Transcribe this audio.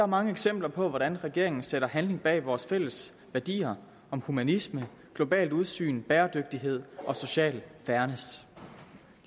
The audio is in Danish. mange eksempler på hvordan regeringen sætter handling bag vores fælles værdier om humanisme globalt udsyn bæredygtighed og social fairness